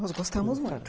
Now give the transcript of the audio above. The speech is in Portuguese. Nós gostamos muito.